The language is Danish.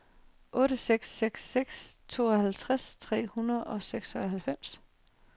otte seks seks seks tooghalvtreds tre hundrede og seksoghalvfems